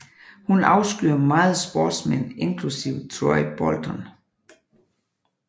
Hun afskyer meget sportsmænd inklusiv Troy Bolton